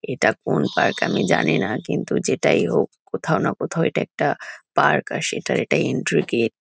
এটা কোন পার্ক আমি জানি না। কিন্তু যেটাই হোক কোথাও না কোথাও এটা একটা পার্ক আর সেটার এটা এন্ট্রি গেট |